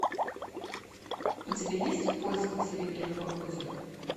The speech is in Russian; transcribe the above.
у тебя есть в поисках серебряного озера